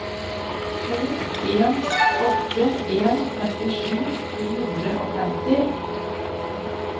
to en åtte en femtisju to hundre og femti